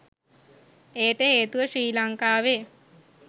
එයට හේතුව ශ්‍රී ලංකාවේ